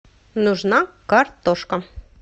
нужна картошка